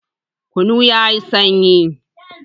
Kunu yayi sanyi